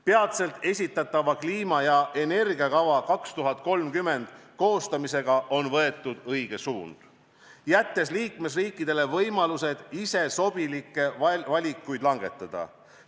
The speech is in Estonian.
Peatselt esitatava kliima- ja energiakava koostamisega on võetud õige suund, jättes liikmesriikidele võimalused ise sobilikke valikuid langetada.